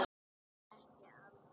Þér er ekki alvara